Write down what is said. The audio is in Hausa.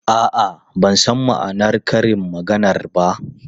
A'a, ban san ma'anar karin maganar ba.